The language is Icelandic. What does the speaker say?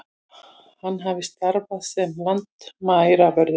Hann hafi starfað sem landamæravörður